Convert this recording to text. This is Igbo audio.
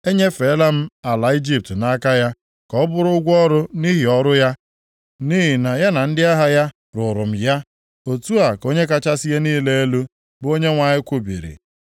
Enyefeela m ala Ijipt nʼaka ya, ka ọ bụrụ ụgwọ ọrụ nʼihi ọrụ ya, nʼihi na ya na ndị agha ya rụụrụ m ya. Otu a ka Onye kachasị ihe niile elu, bụ Onyenwe anyị kwubiri.”